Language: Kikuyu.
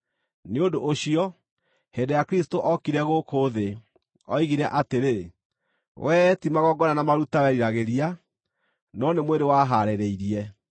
Nĩ ũndũ ũcio, hĩndĩ ĩrĩa Kristũ ookire gũkũ thĩ, oigire atĩrĩ: “Wee ti magongona na maruta weriragĩria, no nĩ mwĩrĩ wahaarĩrĩirie;